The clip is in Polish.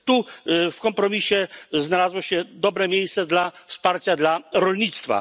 Tu w kompromisie znalazło się dobre miejsce dla wsparcia dla rolnictwa.